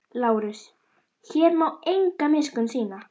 LÁRUS: Hér má enga miskunn sýna.